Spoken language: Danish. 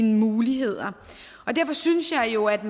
muligheder derfor synes jeg jo at